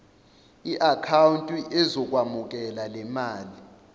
iakhawunti ezokwemukela lemali